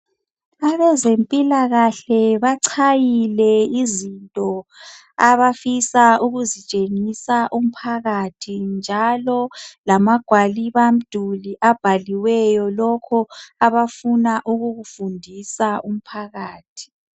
Abazempilakahle bachayile izinto abafisa ukuzitshengisa umphakathi njalo lamagwalibamduli abhaliweyo lokho abafisa ukukufundisa umphakathi.